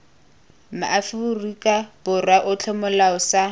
maaforika borwa otlhe molao sa